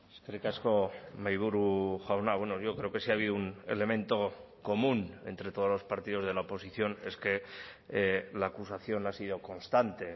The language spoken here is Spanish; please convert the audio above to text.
eskerrik asko mahaiburu jauna bueno yo creo que si ha habido un elemento común entre todos los partidos de la oposición es que la acusación ha sido constante